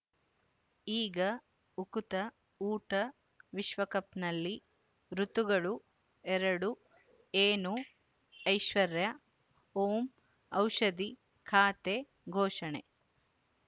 ಈಗ ಉಕುತ ಊಟ ವಿಶ್ವಕಪ್‌ನಲ್ಲಿ ಋತುಗಳು ಎರಡು ಏನು ಐಶ್ವರ್ಯಾ ಓಂ ಔಷಧಿ ಖಾತೆ ಘೋಷಣೆ